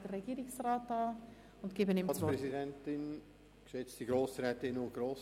Somit erteile ich Herrn Regierungsrat Käser das Wort.